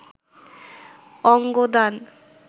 অঙ্গ দান